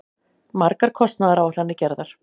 Margar kostnaðaráætlanir gerðar.